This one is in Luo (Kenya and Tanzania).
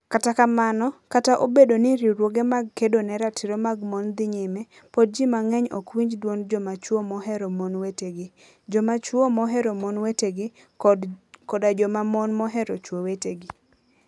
Kata kamano, kata obedo ni riwruoge mag kedo ne ratiro mag mon dhi nyime, pod ji mang'eny ok winj dwond joma chwo mohero mon wetegi, joma chwo mohero mon wetegi, koda joma mon mohero chwo wetegi.